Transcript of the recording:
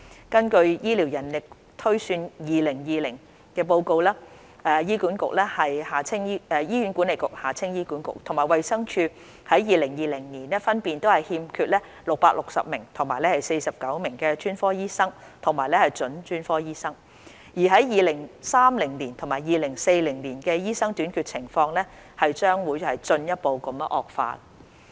根據《醫療人力推算2020》，醫院管理局和衞生署在2020年分別欠缺660名和49名專科醫生和準專科醫生；而在2030年及2040年的醫生短缺情況將會進一步惡化。